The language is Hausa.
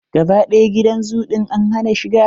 Gaba ɗaya gidan zoo ɗin za a hana shiga.